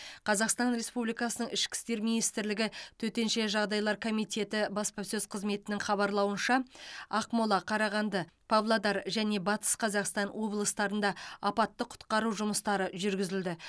қазақстан республикасының ішкі істер министрлігі төтенше жағдайлар комитеті баспасөз қызметінің хабарлауынша ақмола қарағанды павлодар және батыс қазақстан облыстарында апатты құтқару жұмыстары жүргізілді